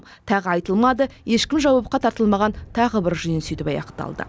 тағы айтылмады ешкім жауапқа тартылмаған тағы бір жиын сөйтіп аяқталды